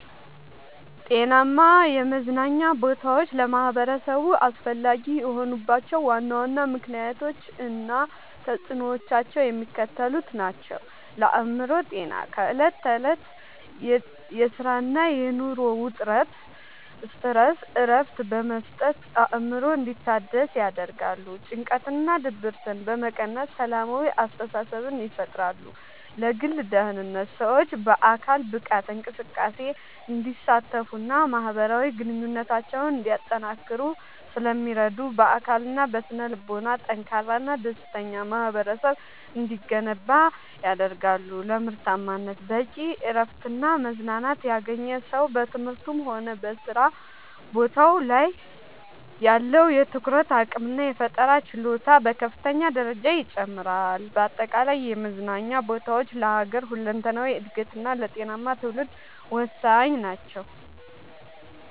ጤናማ የመዝናኛ ቦታዎች ለማኅበረሰቡ አስፈላጊ የሆኑባቸው ዋና ዋና ምክንያቶች እና ተፅዕኖዎቻቸው የሚከተሉት ናቸው፦ ለአእምሮ ጤና፦ ከዕለት ተዕለት የሥራና የኑሮ ውጥረት (Stress) እረፍት በመስጠት አእምሮ እንዲታደስ ያደርጋሉ። ጭንቀትንና ድብርትን በመቀነስ ሰላማዊ አስተሳሰብን ይፈጥራሉ። ለግል ደህንነት፦ ሰዎች በአካል ብቃት እንቅስቃሴ እንዲሳተፉና ማኅበራዊ ግንኙነታቸውን እንዲያጠናክሩ ስለሚረዱ፣ በአካልና በስነ-ልቦና ጠንካራና ደስተኛ ማኅበረሰብ እንዲገነባ ያደርጋሉ። ለምርታማነት፦ በቂ እረፍትና መዝናናት ያገኘ ሰው በትምህርቱም ሆነ በሥራ ቦታው ላይ ያለው የትኩረት አቅምና የፈጠራ ችሎታ በከፍተኛ ደረጃ ይጨምራል። በአጠቃላይ የመዝናኛ ቦታዎች ለሀገር ሁለንተናዊ እድገትና ለጤናማ ትውልድ ወሳኝ ናቸው።